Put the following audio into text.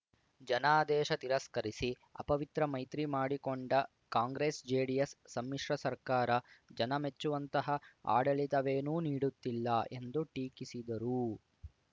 ಜನಾದೇಶ ತಿರಸ್ಕರಿಸಿ ಅಪವಿತ್ರ ಮೈತ್ರಿ ಮಾಡಿಕೊಂಡ ಕಾಂಗ್ರೆಸ್‌ಜೆಡಿಎಸ್‌ ಸಮ್ಮಿಶ್ರ ಸರ್ಕಾರ ಜನ ಮೆಚ್ಚುವಂತಹ ಆಡಳಿತವೇನೂ ನೀಡುತ್ತಿಲ್ಲ ಎಂದು ಟೀಕಿಸಿದರು